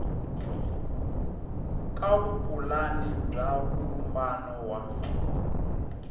ka vupulani bya vumbano wa